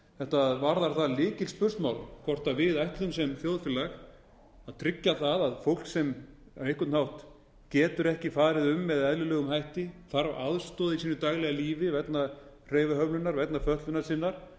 með fötlun þetta varðar það lykilspursmál hvort við ætlum sem þjóðfélag að tryggja það að fólk sem á einhvern hátt getur ekki farið um með eðlilegum hætti þarf aðstoð í sínu daglega lífi vegna hreyfihömlunar vegna fötlunar sinnar